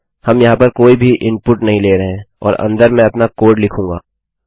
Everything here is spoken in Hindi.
हम यहाँ पर कोई भी इनपुट नहीं ले रहे हैं और अंदर मैं अपना कोड लिखूंगा